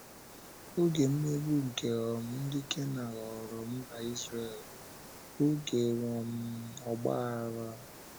Oge mmegbu nke um ndị Kenan ghọọrọ mba Izrel oge um ọgba aghara. um